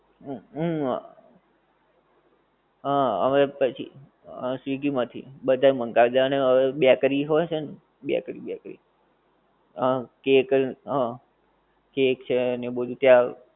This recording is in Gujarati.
ઉહ હા હવે પછી આ swiggy માંથી બધાં મંગાવે જાણે હવે bakery હોએ છે ને bakery bakery હા cake હા cake છે ને એ બધું ત્યાં